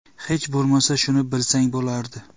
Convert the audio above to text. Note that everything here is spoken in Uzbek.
Hech bo‘lmasa shuni bilsang bo‘lardi!